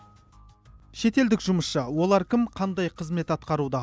шетелдік жұмысшы олар кім қандай қызмет атқаруда